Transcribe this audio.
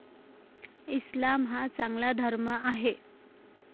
इस्लाम हा चांगला धर्म आहे.